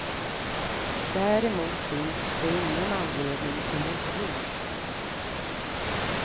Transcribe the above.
Däremot finns det ingen anledning till oro.